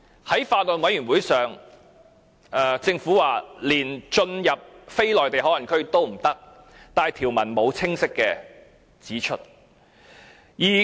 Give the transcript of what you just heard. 在法案委員會會議席上，政府說連進入非內地口岸區也不行，但條文並沒有清晰指出來。